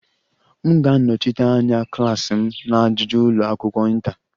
M ga-anọchite anya klas m na ajụjụ ụlọ akwụkwọ inter